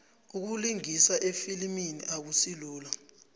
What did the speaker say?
ukulingisa efilimini akusilula